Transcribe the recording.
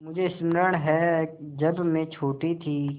मुझे स्मरण है जब मैं छोटी थी